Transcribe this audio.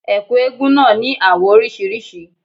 Ẹ̀kú eégún náà ní àwọ̀ oríṣiríṣi.